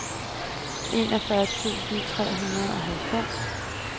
enogfyrre tusind tre hundrede og halvfems